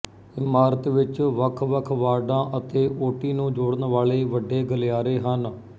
ਇਮਾਰਤ ਵਿੱਚ ਵੱਖ ਵੱਖ ਵਾਰਡਾਂ ਅਤੇ ਓਟੀ ਨੂੰ ਜੋੜਨ ਵਾਲੇ ਵੱਡੇ ਗਲਿਆਰੇ ਹਨ